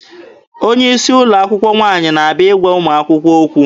Onye isi ụlọ akwụkwọ nwaanyị na-abịa ịgwa ụmụ akwụkwọ okwu.